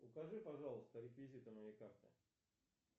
укажи пожалуйста реквизиты моей карты